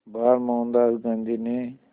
बार मोहनदास गांधी ने